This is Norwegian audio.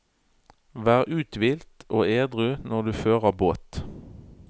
Vær uthvilt og edru når du fører båt.